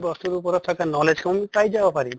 বস্তুটোৰ ওপৰত থকা knowledge পাই যাবা পাৰিম।